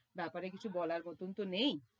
ব্যাপারে কিছু বলার মতন তো নেই।